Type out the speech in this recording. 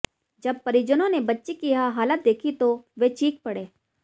जब परिजनों ने बच्ची की यह हालत देखी तो वे चीख पड़े